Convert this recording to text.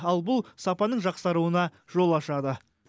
ал бұл сапаның жақсаруына жол ашады